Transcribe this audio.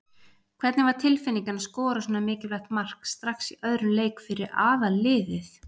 Hvernig var tilfinningin að skora svona mikilvægt mark strax í öðrum leik fyrir aðalliðið?